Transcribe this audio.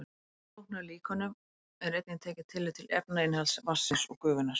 Í flóknari líkönum er einnig tekið tillit til efnainnihalds vatnsins og gufunnar.